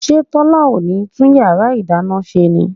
ṣé Tọ́lá ò ní tún yàrá ìdáná ṣe ni?